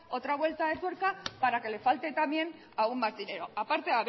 otra vuelta de tuerca para que le falte también aún más dinero a parte